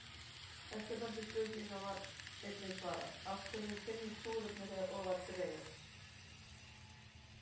Eftirfarandi spurningu var einnig svarað: Af hverju þynnist súrefnið þegar ofar dregur?